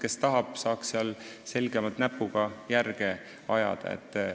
Kes tahab, saab näpuga järge ajada.